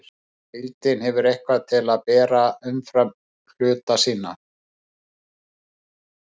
Heildin hefur eitthvað til að bera umfram hluta sína.